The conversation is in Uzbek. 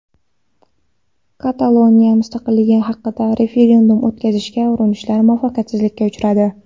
Kataloniya mustaqilligi haqida referendum o‘tkazishga urinishlar muvaffaqiyatsizlikka uchradi.